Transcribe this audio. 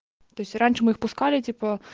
то есть раньше мы их пускали типо